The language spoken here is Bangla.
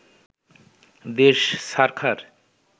দেশ ছারখার